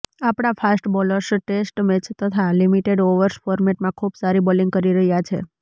આપણા fast bowlers test match તથા limited overs ફોર્મેટમાં ખૂબ સારી બોલિંગ કરી રહ્યા છે